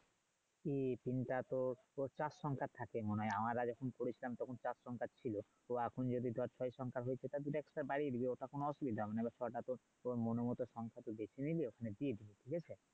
কি টা তো প্রত্যাখন কার থাকে মনে হয় আমারা যখন করেছিলাম তখন চার সংখ্যার ছিলো তো এখন যদি ধর ছয় সংখ্যার হয়ে থাকে তাহলে একটা বাড়িয়ে দিবি ওটা কোন অসুবিধা না তোর মনের মতো সংসার করতে তুলনিয় টিপস ঠিক আছে